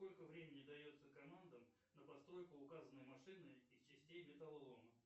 сколько времени дается командам на постройку указанной машины из частей металлолома